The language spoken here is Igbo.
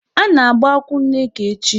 A na-agba nkwụ Nneka echi.